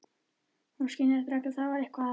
Hún skynjar strax að það er eitthvað að.